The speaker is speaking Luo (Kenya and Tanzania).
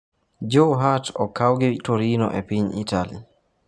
Joe Hart okau gi Torino e piny Italy